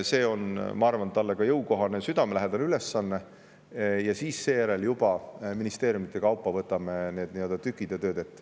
See on, ma arvan, talle ka jõukohane ja südamelähedane ülesanne, ning seejärel võtame juba ministeeriumide kaupa need tükid ja tööd ette.